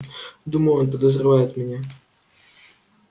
думаю он подозревает меня